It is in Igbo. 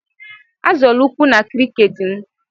Azọla ụkwụ na cricket m.